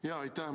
Aitäh!